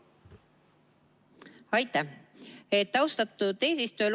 Aitäh, austatud eesistuja!